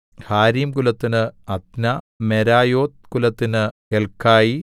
ഹാരീംകുലത്തിന് Adna Meraioth കുലത്തിന് Helkai